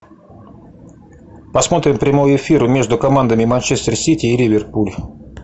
посмотрим прямой эфир между командами манчестер сити и ливерпуль